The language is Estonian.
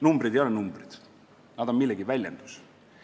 Numbrid ei ole numbrid, nad on millegi väljendus.